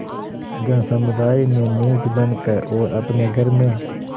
जनसमुदाय में नीच बन कर और अपने घर में